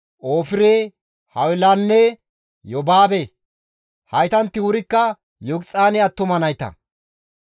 Ofire, Hawilanne Yobaabe; haytanti wurikka Yoqixaane attuma nayta.